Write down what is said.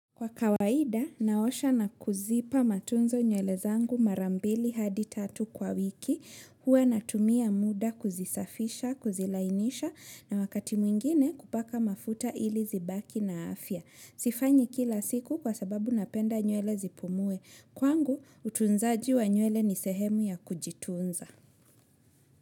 Kwa kawaida, naosha na kuzipa matunzo nywele zangu mara mbili hadi tatu kwa wiki. Huwa natumia muda kuzisafisha, kuzilainisha na wakati mwingine kupaka mafuta ili zibaki na afya. Sifanyi kila siku kwa sababu napenda nywele zipumue. Kwangu, utunzaji wa nywele ni sehemu ya kujitunza.